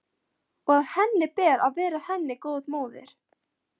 Og að henni ber að vera henni góð móðir.